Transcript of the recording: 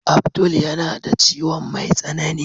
Abdul yana da ciwon mai tsanani.